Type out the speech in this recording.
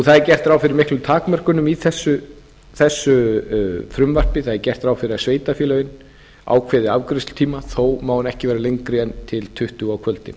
það er gert ráð fyrir miklum takmörkunum í þessu frumvarpi það er gert ráð fyrir því að sveitarfélögin ákveði afgreiðslutíma þó má hann ekki vera lengri en til tuttugu á kvöldin